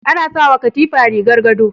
Ana sawa katifa rigar gado